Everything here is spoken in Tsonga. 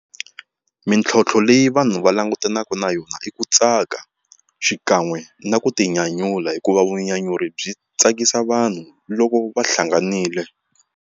Mintlhontlho leyi vanhu va langutanaka na yona i ku tsaka xikan'we na ku tinyanyula hikuva vunyanyuri byi tsakisa vanhu loko va hlanganile.